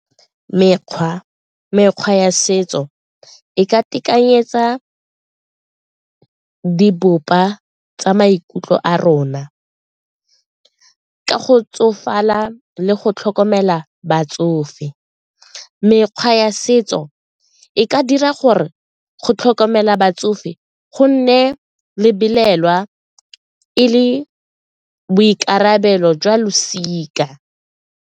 Mekgwa ya setso e ka tekanyetsa di tsa maikutlo a rona ka go tsofala le go tlhokomela ka batsofe. Mekgwa ya setso e ka dira gore go tlhokomela batsofe gonne lebelelwa e le boikarabelo jwa losika.